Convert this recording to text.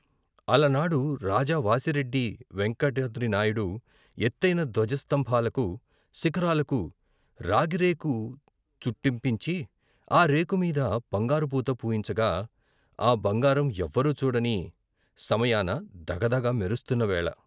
ఆలనాడు రాజా వాసిరెడ్డి వెంకటాద్రినాయుడు ఎత్తయిన ధ్వజస్తంభా లకూ, శిఖరాలకూ రాగిరేకు చుట్టింపించి ఆ రేకు మీద బంగారు పూత పూయించగా, ఆ బంగారం ఎవ్వరూ చూడని సమయాన ధగధగ మెరు స్తున్న వేళ!